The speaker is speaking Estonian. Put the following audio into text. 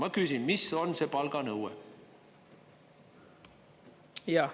Ma küsin: mis on see palganõue?